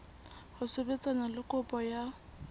ho sebetsana le kopo ya